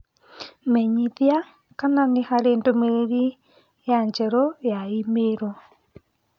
Menyithia kana nĩ harĩ ndũmĩrĩri ya njerũ ya i-mīrū